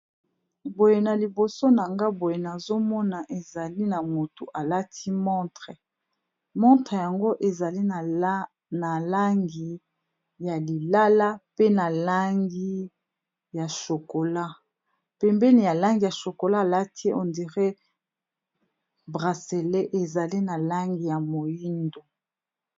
Boye na liboso na nga boye nazomona ezali na motu alati montre montre yango ezali na langi ya lilala pe na langi ya shokola pembeni ya langi ya chokola, alati hondiré brasele ezali na langi ya moindo.